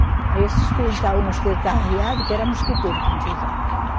Aí eu, o mosquiteiro estava arriado, que era mosquiteiro que a gente usava.